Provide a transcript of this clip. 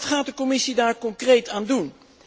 Wat gaat de Commissie daar concreet aan doen?